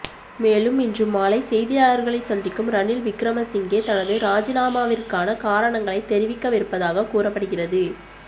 மேலும் இன்று மாலை செய்தியாளர்களை சந்திக்கும் ரணில் விக்கிரமசிங்கே தனது ராஜினாமாவிற்கான காரணங்களை தெரிவிக்கவிருப்பதாக கூறப்படுகிறது